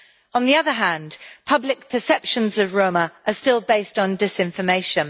On the other hand, public perceptions of Roma are still based on disinformation.